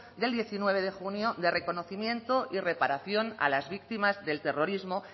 de diecinueve de junio de reconocimiento y reparación a las víctimas del terrorismo